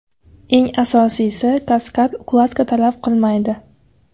Eng asosiysi, kaskad ukladka talab qilmaydi!